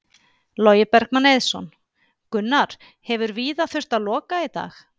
Logi Bergmann Eiðsson: Gunnar, hefur víða þurft að loka í dag?